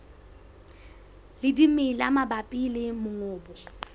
le dimela mabapi le mongobo